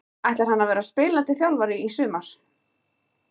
Ætlar hann að vera spilandi þjálfari í sumar?